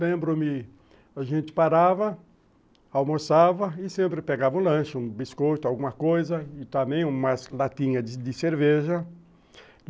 Lembro-me, a gente parava, almoçava e sempre pegava um lanche, um biscoito, alguma coisa, e também umas latinha de de cerveja.